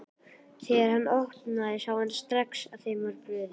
Þegar hann opnaði sá hann strax að þeim var brugðið.